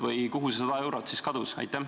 Või kuhu see 100 eurot siis kadus?